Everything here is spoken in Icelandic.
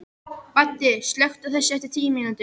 Baddi, slökktu á þessu eftir tíu mínútur.